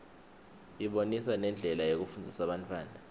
ibonisa nendlela yokufundzisa bantfwana